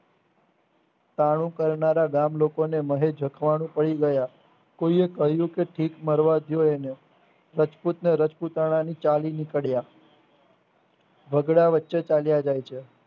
ટાણું કરનારા ગામલોકોને મહે જખવાનું કહી ગયા કોઈએ કહ્યુકે ભીખ મરવાળો એને રજપૂતને રજપૂતાણાની ચાલીની પડ્યા ઝગડા વચ્ચે ચાલ્યા જાય છે.